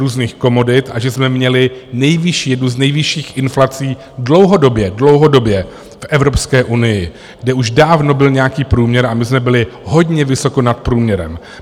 různých komodit a že jsme měli nejvyšší, jednu z nejvyšších inflací dlouhodobě, dlouhodobě v Evropské unii, kde už dávno byl nějaký průměr a my jsme byli hodně vysoko nad průměrem.